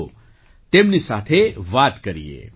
આવો તેમની સાથે વાત કરીએ